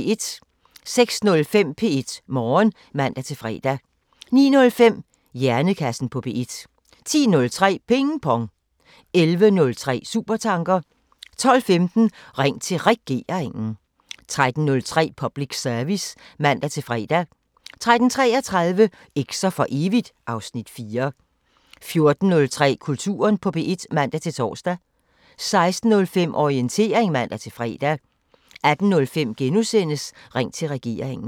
06:05: P1 Morgen (man-fre) 09:05: Hjernekassen på P1 10:03: Ping Pong 11:03: Supertanker 12:15: Ring til Regeringen 13:03: Public Service (man-fre) 13:33: Eks'er for evigt (Afs. 4) 14:03: Kulturen på P1 (man-tor) 16:05: Orientering (man-fre) 18:05: Ring til Regeringen *